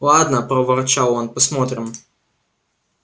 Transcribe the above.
ладно проворчал он посмотрим